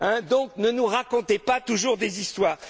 mollo. Donc, ne nous racontez pas toujours des histoires.